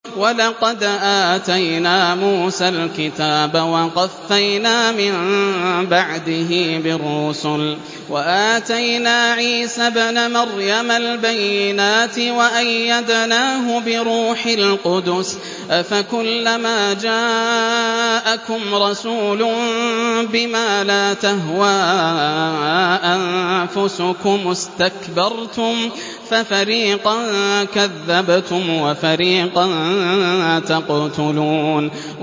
وَلَقَدْ آتَيْنَا مُوسَى الْكِتَابَ وَقَفَّيْنَا مِن بَعْدِهِ بِالرُّسُلِ ۖ وَآتَيْنَا عِيسَى ابْنَ مَرْيَمَ الْبَيِّنَاتِ وَأَيَّدْنَاهُ بِرُوحِ الْقُدُسِ ۗ أَفَكُلَّمَا جَاءَكُمْ رَسُولٌ بِمَا لَا تَهْوَىٰ أَنفُسُكُمُ اسْتَكْبَرْتُمْ فَفَرِيقًا كَذَّبْتُمْ وَفَرِيقًا تَقْتُلُونَ